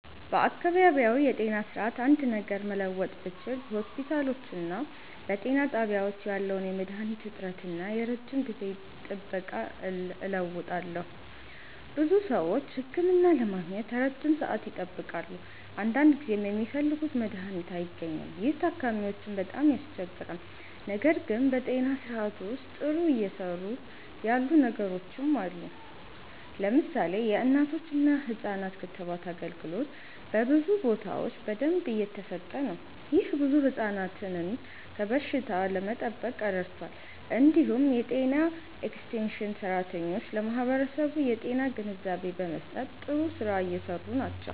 በአካባቢያዊ የጤና ስርዓት አንድ ነገር መለወጥ ብችል በሆስፒታሎችና በጤና ጣቢያዎች ያለውን የመድሃኒት እጥረት እና የረጅም ጊዜ ጥበቃ እለውጣለሁ። ብዙ ሰዎች ህክምና ለማግኘት ረጅም ሰዓት ይጠብቃሉ፣ አንዳንድ ጊዜም የሚፈልጉት መድሃኒት አይገኝም። ይህ ታካሚዎችን በጣም ያስቸግራል። ነገር ግን በጤና ስርዓቱ ውስጥ ጥሩ እየሰሩ ያሉ ነገሮችም አሉ። ለምሳሌ የእናቶችና ህፃናት ክትባት አገልግሎት በብዙ ቦታዎች በደንብ እየተሰጠ ነው። ይህ ብዙ ህፃናትን ከበሽታ ለመጠበቅ ረድቷል። እንዲሁም የጤና ኤክስቴንሽን ሰራተኞች ለማህበረሰቡ የጤና ግንዛቤ በመስጠት ጥሩ ስራ እየሰሩ ናቸው።